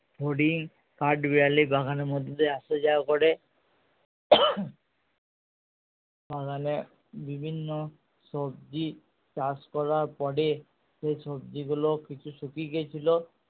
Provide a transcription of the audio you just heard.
ফড়িং কাঠবেড়ালি বাগানের মধ্যে আসা যাওয়া করে বাগানে বিভিন্ন সবজি চাষ করার পরে সেই সবজি গুলো কিছু শুকিয়ে গিয়েছিলো